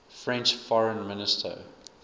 french foreign minister